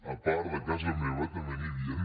a part de casa meva també n’hi havien